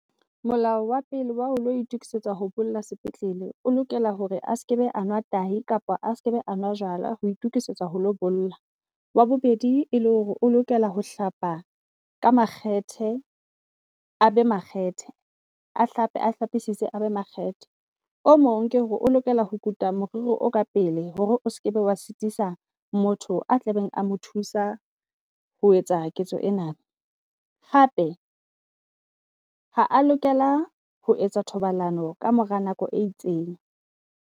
Molao wa pele wao lo itokisetsa ho bolla sepetlele, o lokela hore a ske be anwa tahi kapa a ske be a nwa jwala ho itokisetsa ho lo bolla. Wa bobedi e le hore o lokela ho hlapa ka makgethe, a be makgethe a hlapi a hlapesise a be makgethe. O mong ke hore o lokela ho kutwa moriri o ka pele hore o skebe wa sitisa motho a tlabeng a a mo thusa ho etsa ketso ena. Hape ha a lokela ho etsa thobalano kamora nako e itseng.